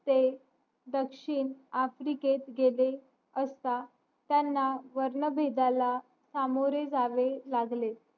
ते दक्षिण आफ्रिकेत गेले असता त्यांना वर्ण भेदला सामोरे जावे लागले